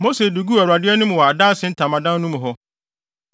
Mose de guu Awurade anim wɔ Adanse Ntamadan no mu hɔ.